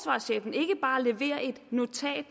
og leverer et notat